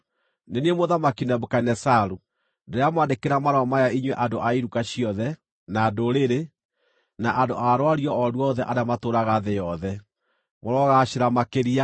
Nĩ niĩ Mũthamaki Nebukadinezaru, Ndĩramwandĩkĩra marũa maya inyuĩ andũ a iruka ciothe, na ndũrĩrĩ, na andũ a rwario o ruothe arĩa matũũraga thĩ yothe: Mũrogaacĩra makĩria!